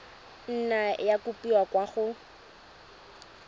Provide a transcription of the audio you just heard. nna ya kopiwa kwa go